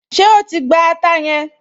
Ṣé o ti gba ata yẹn?